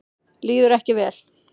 Líður ekki vel.